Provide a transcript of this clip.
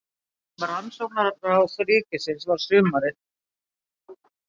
Á vegum Rannsóknaráðs ríkisins var sumarið